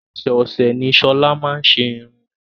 Ọ̀sẹ̀ọ̀sè ni Shola máa n ṣe iru ẹ.